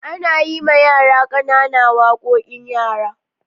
Ana yima yara ƙanana waƙoƙin yara.